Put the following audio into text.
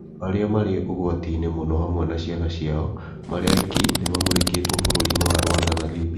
Andũ arĩa marĩ ugwati-inĩ mũno hamwe na ciana ciao marĩ aiki nĩ mamũkĩrĩtwo bũrũi wa Rwanda na Libya